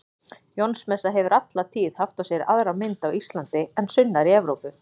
Jónsmessa hefur alla tíð haft á sér aðra mynd á Íslandi en sunnar í Evrópu.